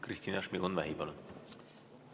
Kristina Šmigun-Vähi, palun!